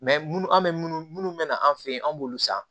munnu an be minnu munnu be na an fe yen an b'olu san